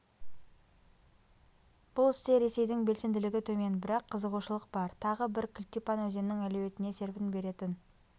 бұл істе ресейдің белсенділігі төмен бірақ қызығушылық бар тағы бір кілтипан өзеннің әлеуетіне серпін беретін